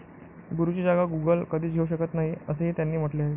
गुरुची जागा गुगल कधीच घेऊ शकत नाही, असेही त्यांनी म्हटले आहे.